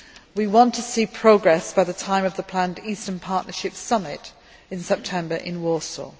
We want to see progress by the time of the planned Eastern Partnership Summit in September in Warsaw.